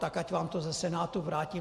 Tak ať vám to ze Senátu vrátí.